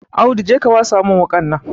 Audu je ka wasa wuƙa nan